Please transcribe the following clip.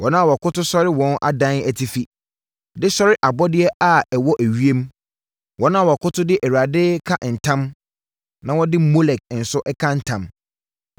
wɔn a wɔkoto sɔre wɔn adan atifi, de sɔre abɔdeɛ a ɛwɔ ewiem, wɔn a wɔkoto de Awurade ka ntam na wɔde Molek nso ka ntam,